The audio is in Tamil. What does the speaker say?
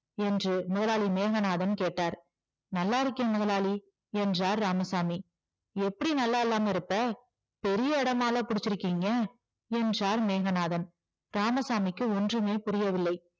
என்று முதலாளி மேகநாதன் கேட்டார் நல்லா இருக்கேன் முதலாளி என்றார் இராமசாமி எப்படி நல்லா இல்லாம இருப்ப பெரிய இடமால்ல புடிச்சிருக்கீங்க என்றார் மேகநாதன் ராமசாமிக்கு ஒன்றுமே புரியவில்லை